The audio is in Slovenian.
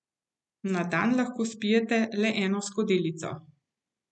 Na dan lahko spijete le eno skodelico.